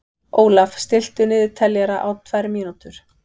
Ólaf, stilltu niðurteljara á tvær mínútur.